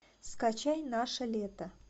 скачай наше лето